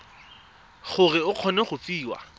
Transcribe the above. gore o kgone go fiwa